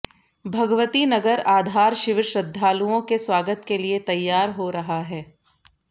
भगवती नगर आधार शिविर श्रद्धालुओं के स्वागत के लिए तैयार हो रहा है